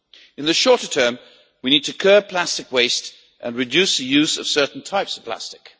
In the shorter term, we need to curb plastic waste and reduce the use of certain types of plastic.